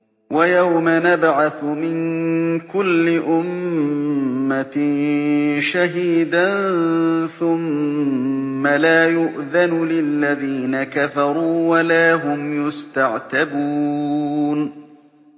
وَيَوْمَ نَبْعَثُ مِن كُلِّ أُمَّةٍ شَهِيدًا ثُمَّ لَا يُؤْذَنُ لِلَّذِينَ كَفَرُوا وَلَا هُمْ يُسْتَعْتَبُونَ